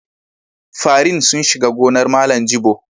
Farin sun shiga gonar Malam Jibo.